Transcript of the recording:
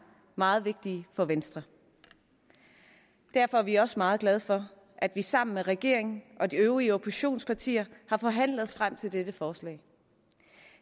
meget vigtige for venstre derfor er vi også meget glad for at vi sammen med regeringen og de øvrige oppositionspartier har forhandlet os frem til dette forslag